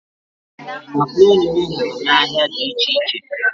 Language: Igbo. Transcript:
Makaroni m hụrụ n'ahịa dị iche iche.